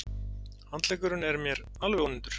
Handleggurinn er mér alveg ónýtur.